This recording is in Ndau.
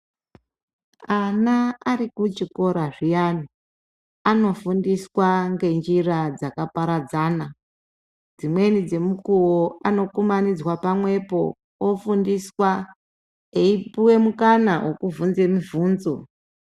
Ana ari kuchikora zviyani, anofundiswa ngenjira dzakaparadzana, dzimweni dzemukuwo anokumanidzwa pamwepo ofundiswa eipuwe mukana, wekubvunze mubvunzo.